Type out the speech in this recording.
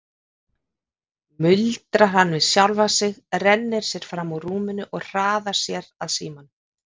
muldrar hann við sjálfan sig, rennir sér fram úr rúminu og hraðar sér að símanum.